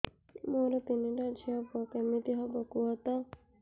ମୋର ତିନିଟା ଝିଅ ପୁଅ କେମିତି ହବ କୁହତ